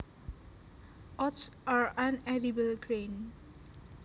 Oats are an edible grain